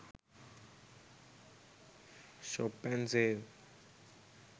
shop n save